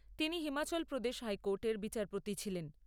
তিনি হিমাচল প্রদেশ হাইকোর্টের বিচারপতি ছিলেন।